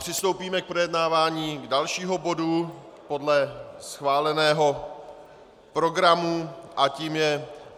Přistoupíme k projednávání dalšího bodu podle schváleného programu a tím je